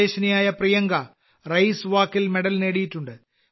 സ്വദേശിനിയായ പ്രിയങ്ക റേസ് വാക്കിൽ മെഡൽ നേടിയിട്ടുണ്ട്